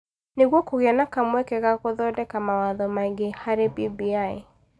Nĩguo kũgĩe na kamweke ga gũthondeka mawatho mangĩ harĩ BBI.